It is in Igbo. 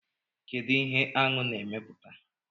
kedu ihe Aṅụ na-emeputa?